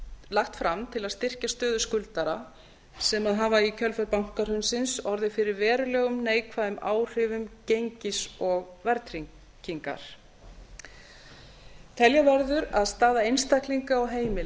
lagt fram til að styrkja stöðu skuldara sem hafa í kjölfar bankahrunsins orðið fyrir verulegum neikvæðum áhrifum gengis og verðtryggingar telja verður að staða einstaklinga og heimila